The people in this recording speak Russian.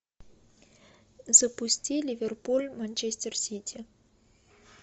запусти ливерпуль манчестер сити